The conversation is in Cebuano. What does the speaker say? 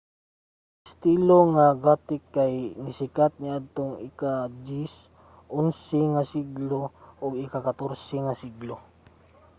ang estilo nga gothic kay nisikat niadtong ika-10-11 nga siglo ug sa ika-14 nga siglo